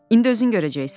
İndi özün görəcəksən.